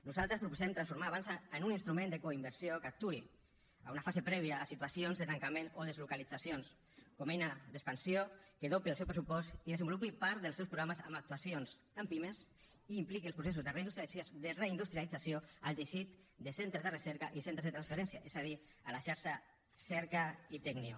nosaltres proposem transformar avançsa en un instrument de coinversió que actuï en una fase prèvia a situacions de tancament o deslocalitzacions com a eina d’expansió que dobli el seu pressupost i desenvolupi part dels seus programes amb actuacions en pimes i impliqui els processos de reindustrialització al teixit de centres de recerca i centres de transferència és a dir a la xarxa cerca i tecnio